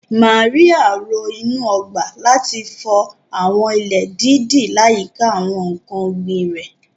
Màríà ro inú ọgbà, láti fọ àwọn ilẹ̀ dídì láyìíká àwọn ǹkan ọ̀gbìn rẹ̀.